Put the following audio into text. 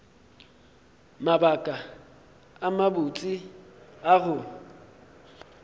mabaka a mabotse a go